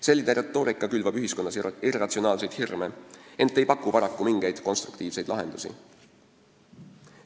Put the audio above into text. Selline retoorika külvab ühiskonnas irratsionaalseid hirme, ent ei paku paraku mingeid konstruktiivseid lahendusi.